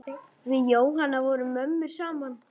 Við Jóhanna vorum mömmur saman.